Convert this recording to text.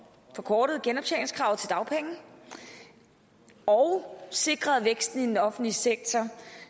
forkortet genoptjeningskravet til dagpenge og sikret væksten i den offentlige sektor